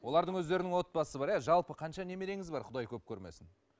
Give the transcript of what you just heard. олардың өздерінің отбасы бар ә жалпы қанша немереңіз бар құдай көп көрмесін